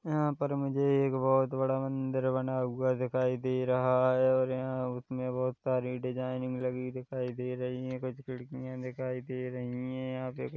यहाँ पर मुझे एक बहुत बड़ा मदिर बना हुआ दिखाई दे रहा है और यहा उसमे बहुत सारी डिजाइनिग लगी दिखाई दे रही है कुछ खिड़कियाँ दिखाई दे रही है यहाँ पे--